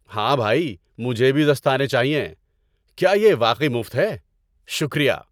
ہاں بھائی، مجھے بھی دستانے چاہئیں۔ کیا یہ واقعی مفت ہے؟ شکریہ!